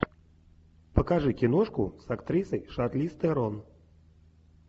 покажи киношку с актрисой шарлиз терон